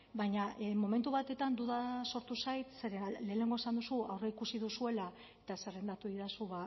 baina momentu batetan duda sortu zait zeren lehengo esan duzu aurreikusi duzuela eta zerrendatu didazu